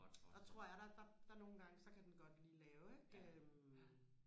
der tror jeg der der der nogengange så kan den godt lige lave ikke øh